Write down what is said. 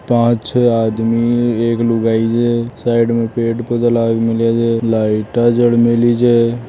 पांच छः आदमी एक लुगाई छे साइड में पेड़ पौधा लाग मेल्या छे लाइट आ जल मेली छे।